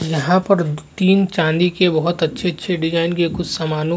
यहाँ पर तीन चांदी के बहुत अच्छे -अच्छे डिजाइन के कुछ समानों --